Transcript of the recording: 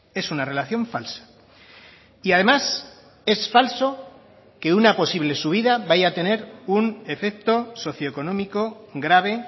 es una relación falsa y además es falso que una posible subida vaya a tener un efecto socioeconómico grave